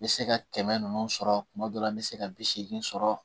N bɛ se ka kɛmɛ nunnu sɔrɔ kuma dɔ la n bɛ se ka bi seegin sɔrɔ